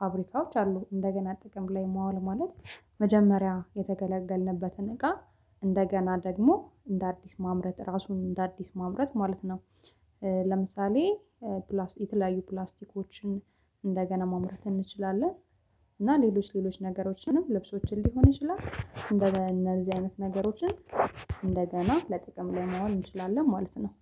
ፋብሪካዎች አሉ። እንደገና ጥቅም ላይ ማዋል ማለት መጀመሪያ የተገለገልንበትን እቃ እንደገና ደግሞ እንደ አዲስ ማምረት ራሱን እንደ አዲስ ማምረት ማለት ነው። ለምሳሌ ፕላስቲክ ላይ የተለያዩ ፕላስቲኮችን እንደገና ማምረት እንችላለን። እና ሌሎች ሌሎች ነገሮችንም ልብሶችን ሊሆን ይችላል እንደገና እነዚህ አይነት ነገሮችን እንደገና ለጥቅም ላይ መዋል እንችላለን ማለት ነው